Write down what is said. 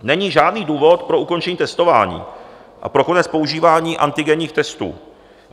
Není žádný důvod pro ukončení testování a pro konec používání antigenních testů.